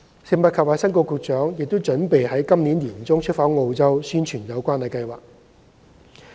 食物及衞生局局長亦已計劃於今年年中出訪澳洲宣傳有關計劃。